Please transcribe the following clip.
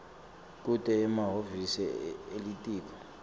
kute emahhovisi elitiko